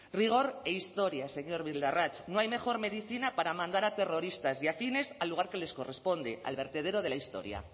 rigor e historias señor bildarratz no hay mejor medicina para mandar a terroristas y afines al lugar que les corresponde al vertedero de la historia